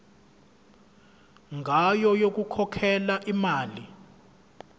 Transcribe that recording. ngayo yokukhokhela imali